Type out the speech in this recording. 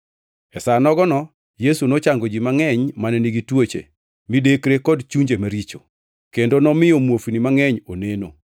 E sa nogono Yesu nochango ji mangʼeny mane nigi tuoche, midekre kod chunje maricho, kendo nomiyo muofni mangʼeny oneno.